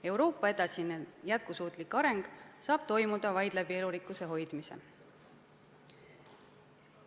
Euroopa edasine jätkusuutlik areng saab toimuda vaid elurikkuse hoidmise abil.